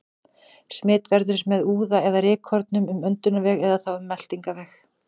Smit verður með úða eða rykkornum um öndunarveg eða þá um meltingarveg.